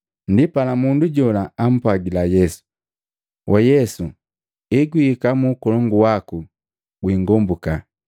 Ndipala mundu jola ampwagila Yesu, “Waa Yesu, egwihika mu Ukolongu waku gwingombuka.”